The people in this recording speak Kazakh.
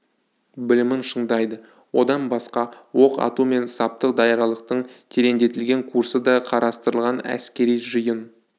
білімін шыңдайды одан басқа оқ ату мен саптық даярлықтың тереңдетілген курсы да қарастырылған әскери жиын